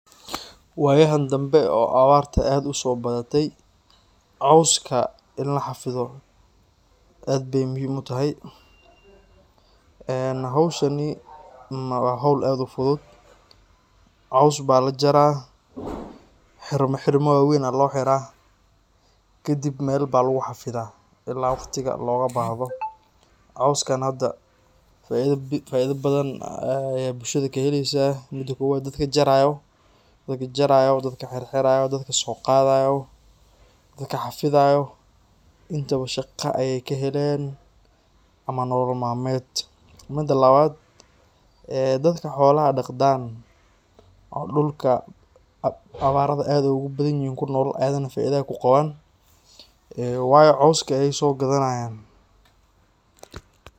Wayaha dambe oo awarta ad usobadatey cawska in laxafidho ad bay muhim utahay. Een howshani wa howl ad u fudud, caws ba lajarah , xirmoxirmo waweyn aa loxiraah kadib mel ba luguxafidah ila waqtiga logabahdo. Cawskan hada faido bathan ayay bulshada kaheleysah. Mida kowad dadka jarayo, dadka xirxirayo, dadka soqadayo, dadka xafidayo intaba shaqa ay kahelayan ama nolol malmed. Mida lawad ee dadka xolaha daqdan oo dulka awarada ad ogubathanyihin kunol ayagana faida ay kuqawan ee waayo cawska ay sogadanay.